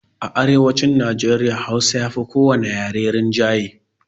A arewacin Najeriya hausa yafi ko wani yare rinjaye